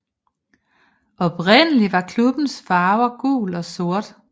Oprindelig var klubbens farver gul og sort